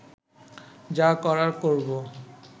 যা করার করব